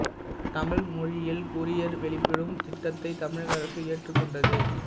தமிழ் மொழியில் கூரியர் வெளியிடும் திட்டத்தைத் தமிழக அரசு ஏற்றுக்கொண்டது